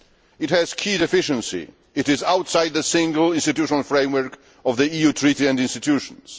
It has one key deficiency it is outside the single institutional framework of the EU Treaty and its institutions.